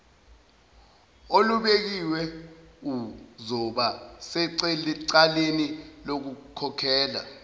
olubekiwe uzobasecaleni lokukhokhela